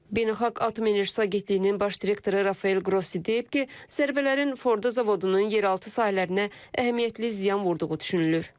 Beynəlxalq Atom Enerjisi Agentliyinin baş direktoru Rafael Qrossi deyib ki, zərbələrin Fordo zavodunun yeraltı sahələrinə əhəmiyyətli ziyan vurduğu düşünülür.